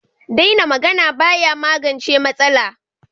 Daina magana ba ya magance matsala.